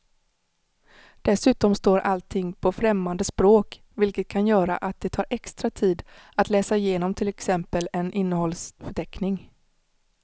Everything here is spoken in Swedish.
Dessutom står allting på främmande språk vilket kan göra att det tar extra tid att läsa igenom till exempel en innehållsförteckning.